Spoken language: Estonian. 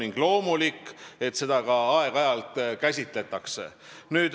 On loomulik, et seda aeg-ajalt tehakse.